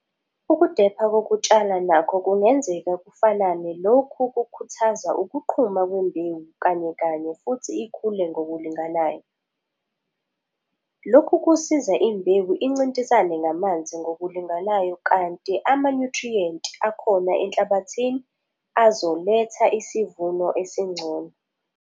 Ukudepha kokutshala nakho kungenzeka kufanane lokho kukhuthaza ukuqhuma kwembewu kanyekanye futhi ikhule ngokulinganayo. Lokhu kusiza imbewu incintisane ngamanzi ngokulinganayo kanti amanyuthriyenti akhona enhlabathini azoletha isivuno esingcono.